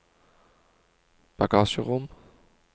bagasjerom